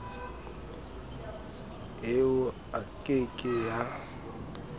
eo e ke ke ya